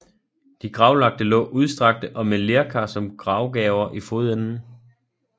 De gravlagte lå udstrakte og med lerkar som gravgaver i fodenden